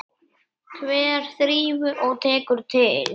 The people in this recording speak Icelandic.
Hver þrífur og tekur til?